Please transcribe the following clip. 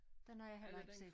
Den har jeg heller ikke set